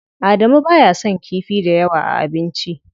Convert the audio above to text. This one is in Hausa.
Adamu baya son kifi dayawa a abinci.